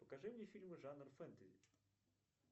покажи мне фильмы жанр фэнтези